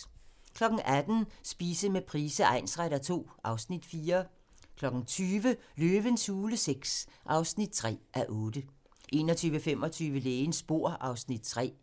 18:00: Spise med Price egnsretter II (Afs. 4) 20:00: Løvens hule VI (3:8) 21:25: Lægens bord (Afs. 3)